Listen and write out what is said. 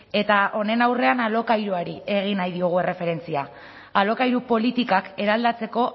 eta honen aurrean alokairuari egingo diogu erreferentzia alokairu politikak eraldatzeko